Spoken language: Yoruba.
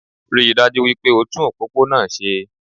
Ríi dájú wípé o tún òpópónà se